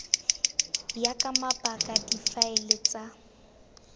ya ka mabaka difaele tsa